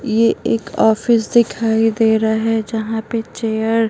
ये एक ऑफिस दिखाई दे रहा है जहां पे चेयर --